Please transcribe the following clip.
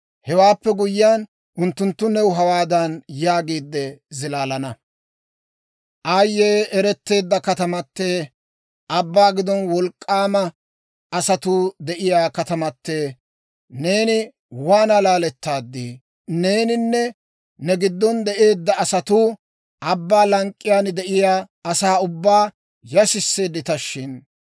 « ‹Hewaappe guyyiyaan, unttunttu new hawaadan yaagiide zilaalana; « ‹Aayye, eretteedda katamatee, abbaa giddon wolk'k'aamiyaa asatuu de'iyaa katamatee, neeni waana laalettaadii! Neeninne ne giddon de'eedda asatuu abbaa lank'k'iyaan de'iyaa asaa ubbaa yashisseeddita shin!